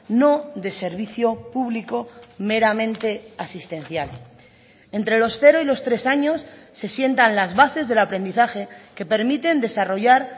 no de servicio público meramente asistencial entre los cero y los tres años se sientan las bases del aprendizaje que permiten desarrollar